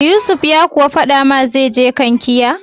Yusuf ya kuwa faɗa ma zai je Kankia?